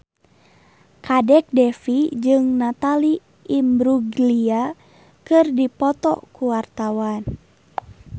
Kadek Devi jeung Natalie Imbruglia keur dipoto ku wartawan